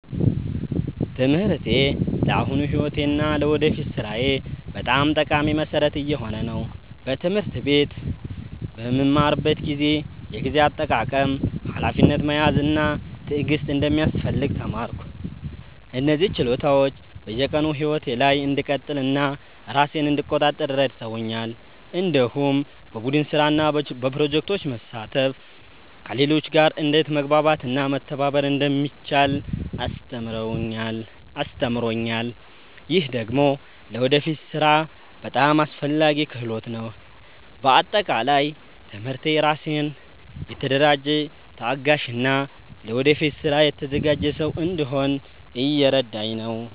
ትምህርቴ ለአሁኑ ሕይወቴ እና ለወደፊት ሥራዬ በጣም ጠቃሚ መሠረት እየሆነ ነው። በትምህርት ቤት በምማርበት ጊዜ የጊዜ አጠቃቀም፣ ሀላፊነት መያዝ እና ትዕግስት እንደሚያስፈልግ ተማርኩ። እነዚህ ችሎታዎች በየቀኑ ሕይወቴ ላይ እንድቀጥል እና ራሴን እንድቆጣጠር ረድተውኛል። እንዲሁም በቡድን ስራ እና በፕሮጀክቶች መሳተፍ ከሌሎች ጋር እንዴት መግባባት እና መተባበር እንደሚቻል አስተምሮኛል። ይህ ደግሞ ለወደፊት ሥራ በጣም አስፈላጊ ክህሎት ነው። በአጠቃላይ ትምህርቴ ራሴን የተደራጀ፣ ታጋሽ እና ለወደፊት ስራ የተዘጋጀ ሰው እንድሆን እየረዳኝ ነው።